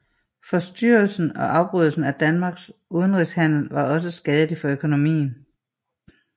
Forstyrrelsen og afbrydelsen af Danmarks udenrigshandel var også skadelig for økonomien